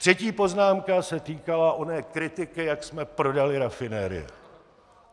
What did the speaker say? Třetí poznámka se týkala oné kritiky, jak jsme prodali rafinérie.